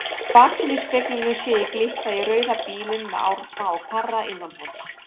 Í baksýnisspeglinum sé ég glitta í rauða bílinn með Árna og Karra innanborðs.